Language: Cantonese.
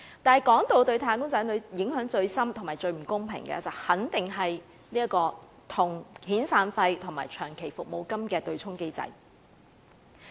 但是，說到對"打工仔女"影響最深、最不公平的，肯定是遣散費和長期服務金的對沖機制。